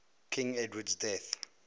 king edward's death